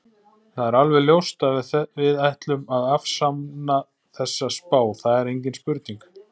Það er alveg ljóst að við ætlum að afsanna þessa spá, það er engin spurning.